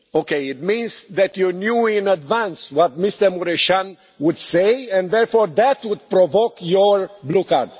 It means that you knew in advance what Mr Mureşan would say, and therefore that would provoke your blue card.